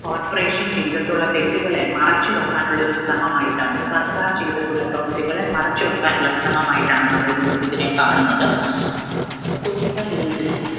corporation ചെയ്തിട്ടുള്ള തെറ്റുകളെ മറച്ചുവയ്ക്കാനുള്ള ഒരു ശ്രമം ആയിട്ടാണ് സർക്കാർ ചെയ്തിട്ടുള്ള പ്രവർത്തികളെ മറച്ചുവെക്കാനുള്ള ശ്രമം ആയിട്ടാണ് നമ്മൾ ഇതിനെ കാണുന്നത്. കൊച്ചിക്കാർ ഇതിൽ